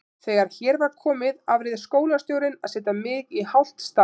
Þegar hér var komið afréð skólastjórnin að setja mig í hálft starf.